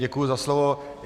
Děkuji za slovo.